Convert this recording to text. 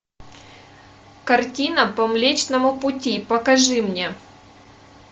картина по млечному пути покажи мне